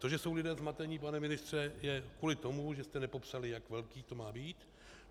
To, že jsou lidé zmateni, pane ministře, je kvůli tomu, že jste nepopsali, jak velké to má být.